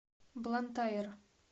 блантайр